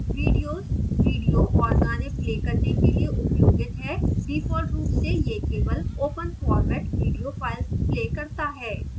videos video और गाने play करने के लिए उपयोगित है default रूप से यह केवल open format video files play करता है